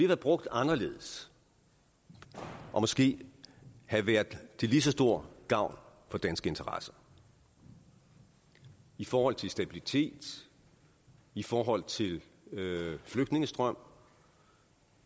være brugt anderledes og måske have været til lige så stor gavn for danske interesser i forhold til stabilitet i forhold til flygtningestrøm